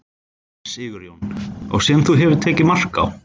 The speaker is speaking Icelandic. Sigurjón: Og sem þú hefur tekið mark á?